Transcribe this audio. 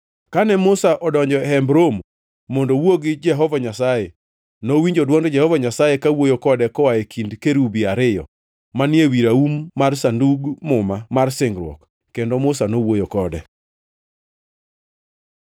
Kane Musa odonjo e Hemb Romo mondo owuo gi Jehova Nyasaye, nowinjo dwond Jehova Nyasaye kawuoyo kode koa e kind kerubi ariyo manie wi raum mar Sandug Muma mar Singruok. Kendo Musa nowuoyo kode.